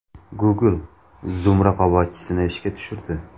Google Zoom raqobatchisini ishga tushirdi.